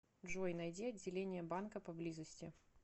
джой найди отделение банка поблизости